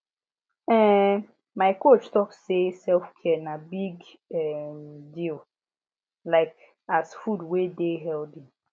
ehn my coach talk say selfcare be big um deal like as food wey dey healthy